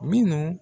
Minnu